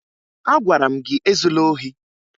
Agwara m gị ezula ohi!